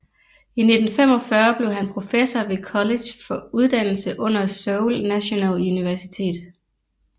I 1945 blev han professor ved kollege for uddannelse under Seoul Nationale Universitet